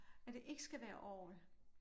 At det ikke skal være orgel